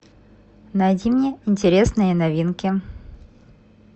найди мне интересные новинки